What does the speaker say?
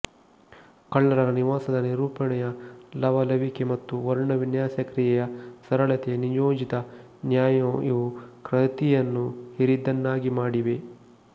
ಕಳ್ಳರ ನಿವಾಸದ ನಿರೂಪಣೆಯ ಲವಲವಿಕೆ ಮತ್ತು ವರ್ಣವಿನ್ಯಾಸ ಕ್ರಿಯೆಯ ಸರಳತೆ ನಿಯೋಜಿತ ನ್ಯಾಯಇವು ಕೃತಿಯನ್ನು ಹಿರಿದನ್ನಾಗಿ ಮಾಡಿವೆ